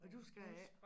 Du skal ikke